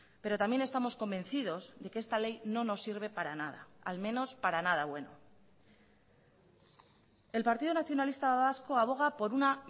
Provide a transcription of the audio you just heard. pero también estamos convencidos de que esta ley no nos sirve para nada al menos para nada bueno el partido nacionalista vasco aboga por una